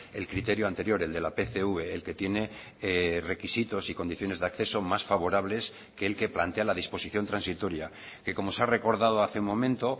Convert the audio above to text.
el criterio anterior el de la pcv el que tiene requisitos y condiciones de acceso más favorables que el que plantea la disposición transitoria que como se ha recordado hace un momento